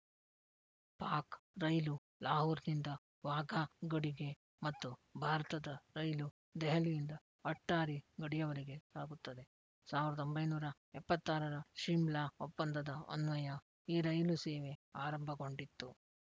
ಪಾಕ್‌ ರೈಲು ಲಾಹೋರ್‌ನಿಂದ ವಾಘಾ ಗಡಿಗೆ ಮತ್ತು ಭಾರತದ ರೈಲು ದೆಹಲಿಯಿಂದ ಅಟ್ಟಾರಿ ಗಡಿಯವರಿಗೆ ಸಾಗುತ್ತದೆ ಸಾವಿರದ ಒಂಬೈನೂರ ಎಪ್ಪತ್ತ್ ಆರರ ಶೀಮ್ಲಾ ಒಪ್ಪಂದದ ಅನ್ವಯ ಈ ರೈಲು ಸೇವೆ ಆರಂಭಗೊಂಡಿತ್ತು